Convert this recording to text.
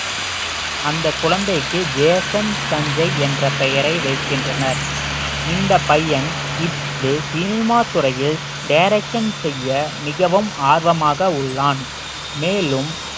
அந்த குழந்தைக்கு ஜேசன் சஞ்சய் என்ற பெயரை வைக்கின்றனர் இந்த பையன் சினிமா துறையில் direction செய்ய மிகவும் ஆர்வமாக உள்ளான் மேலும்